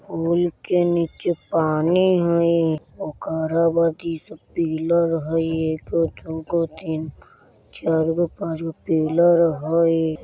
पुल के नीचे पानी हय ओकरा बाद इ सब पिलर हय एगो दू गो तीन गो चार गो पाँच गो पिलर हय।